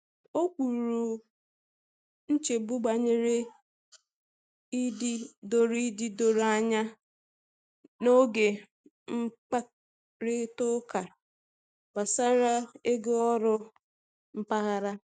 O kwuru nchegbu banyere ịdị doro ịdị doro anya n’oge mkparịta ụka gbasara ego oru mpaghara.